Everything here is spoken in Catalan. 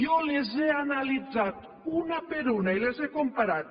jo les he analitzat una per una i les he comparat